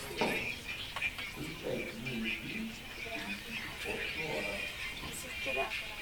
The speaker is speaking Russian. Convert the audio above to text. включай милый фильм в стилистике постнуара